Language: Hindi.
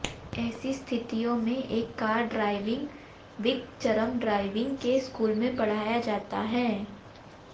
ऐसी स्थितियों में एक कार ड्राइविंग विक चरम ड्राइविंग के स्कूल में पढ़ाया जाता है